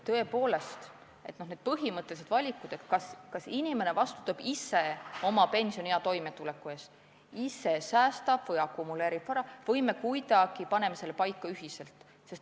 Tõepoolest on põhimõttelised valikud, kas inimene vastutab ise oma pensioniea toimetuleku eest – ise säästab või akumuleerib vara – või me kuidagi paneme selle paika ühiselt.